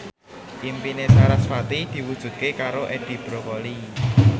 impine sarasvati diwujudke karo Edi Brokoli